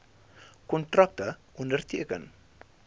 kontrakte onderteken